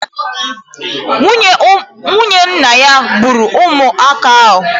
Nwunye nna ya gburu ụmụaka ahụ.